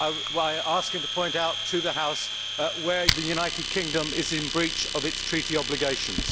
I would ask him to point out to the House where the United Kingdom is in breach of its treaty obligations.